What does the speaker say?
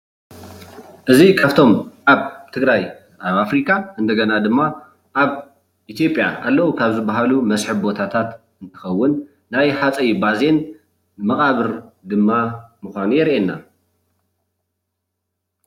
እዚ ካፍቶም ኣብ ትግራይ ኣብ ኣፍሪካ እንደገና ድማ ኣብ ኢትዮጵያ ኣለው ካብ ዝበሃሉ መሰሕብ ቦታታት እንትኸውን ናይ ሃፀይ ባዜን መቃብር ድማ ምዃኑ የርእየና።